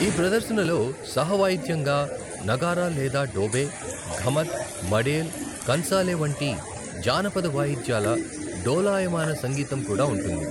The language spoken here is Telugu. ఈ ప్రదర్శనలో సహవాయిద్యంగా నగారా లేదా డోబే, ఘుమత్, మడేల్, కన్సాలే వంటి జానపద వాయిద్యాల డోలాయమాన సంగీతం కూడా ఉంటుంది.